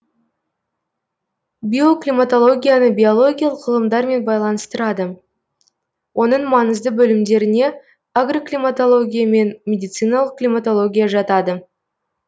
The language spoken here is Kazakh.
биоклиматологияны биологиялық ғылымдармен байланыстырады оның маңызды бөлімдеріне агроклиматология мен медициналық климатология жатады